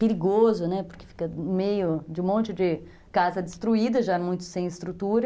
Perigoso, porque fica no meio de um monte de casa destruída, já muito sem estrutura.